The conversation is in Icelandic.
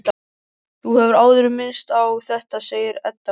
Þú hefur áður minnst á þetta, segir Edda.